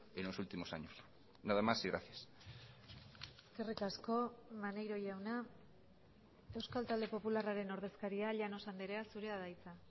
en los últimos años nada más y gracias eskerrik asko maneiro jauna euskal talde popularraren ordezkaria llanos andrea zurea da hitza